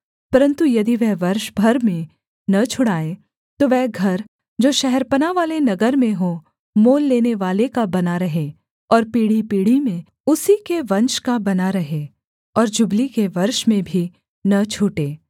परन्तु यदि वह वर्ष भर में न छुड़ाए तो वह घर जो शहरपनाह वाले नगर में हो मोल लेनेवाले का बना रहे और पीढ़ीपीढ़ी में उसी में वंश का बना रहे और जुबली के वर्ष में भी न छूटे